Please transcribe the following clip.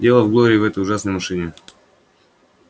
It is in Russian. дело в глории и в этой ужасной машине